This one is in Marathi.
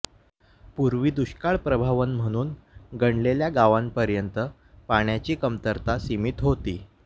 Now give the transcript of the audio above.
पूर्वी दुष्काळप्रवण म्हणून गणलेल्या गावांपर्यंत पाण्याची कमतरता सीमित होती